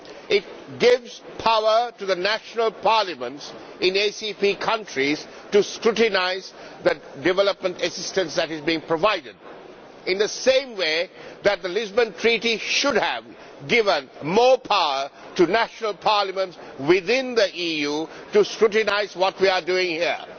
It gives power to the national parliaments in ACP countries to scrutinise the development assistance that is being provided, in the same way that the Lisbon Treaty should have given more power to national parliaments within the EU to scrutinise what we are doing here.